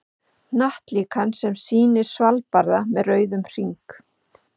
Hnattlíkan sem sýnir Svalbarða með rauðum hring.